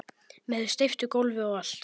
Með steyptu gólfi og allt